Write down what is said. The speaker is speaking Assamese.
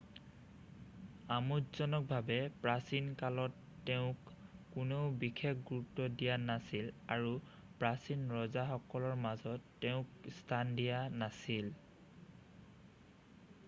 আমোদজনকভাৱে প্ৰাচীন কালত তেওঁক কোনেও বিশেষ গুৰুত্ব দিয়া নাছিল আৰু প্ৰচীন ৰজাসকলৰ মাজত তেওঁক স্থান দিয়া নাছিল